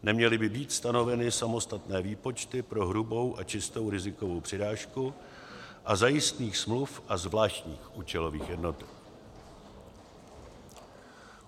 Neměly by být stanoveny samostatné výpočty pro hrubou a čistou rizikovou přirážku u zajistných smluv a zvláštních účelových jednotek.